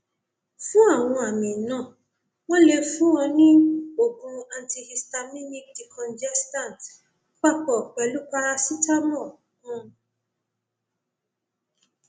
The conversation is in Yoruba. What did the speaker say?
fún àwọn àmì náà wọn lè fún un ní oògùn antihistaminic decongestant papọ pẹlú paracetamol um